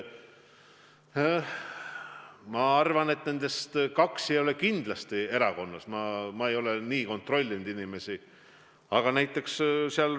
Ma arvan, et nendest kaks ei ole kindlasti erakonnas, aga ma ei ole niimoodi inimesi kontrollinud.